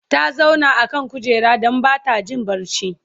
ta zauna a kan kujera Dan Bata Jin barci